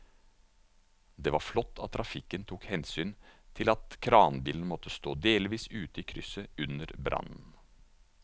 Det var flott at trafikken tok hensyn til at kranbilen måtte stå delvis ute i krysset under brannen.